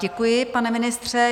Děkuji, pane ministře.